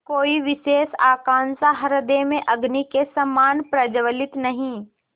कोई विशेष आकांक्षा हृदय में अग्नि के समान प्रज्वलित नहीं